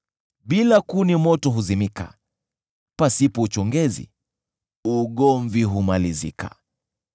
Bila kuni moto huzimika; pasipo uchongezi ugomvi humalizika.